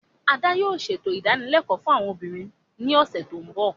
Ada yoo ṣeto idanilẹkọ fun awọn obinrin ni ọsẹ ti n bọ.